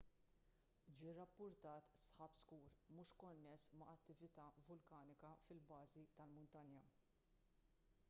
ġie rrappurtat sħab skur mhux konness ma' attività vulkanika fil-bażi tal-muntanja